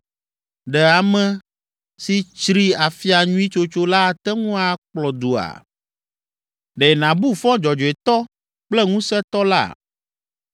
Ɖe ame si tsri afia nyui tsotso la ate ŋu akplɔ dua? Ɖe nàbu fɔ dzɔdzɔetɔ kple Ŋusẽtɔ la?